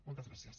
moltes gràcies